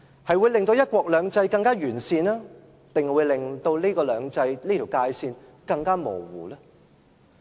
它會令"一國兩制"更完善，還是令"兩制"這條界線更模糊呢？